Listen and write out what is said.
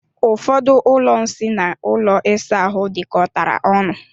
Ụfọdụ ụlọ nsị na ụlọ ịsa ahụ dikọtara ọnu.